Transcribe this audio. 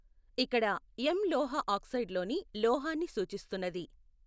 ఇక్కడ ఎమ్ లోహఆక్సైడులోని లోహాన్ని సూచిస్తున్నది.